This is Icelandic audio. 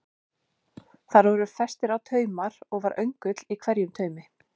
Þar voru festir á taumar og var öngull á hverjum taumi.